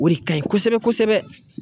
O de ka ɲi kosɛbɛ kosɛbɛ.